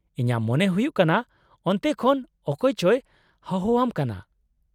-ᱤᱧᱟᱹᱜ ᱢᱚᱱᱮ ᱦᱩᱭᱩᱜ ᱠᱟᱱᱟ ᱚᱱᱛᱮ ᱠᱷᱚᱱ ᱚᱠᱚᱭ ᱪᱚᱭ ᱦᱚᱦᱚᱣᱟᱢ ᱠᱟᱱᱟ ᱾